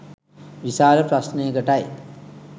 විශාල ප්‍රශ්නයකටයි.